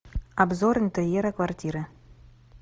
обзор интерьера квартиры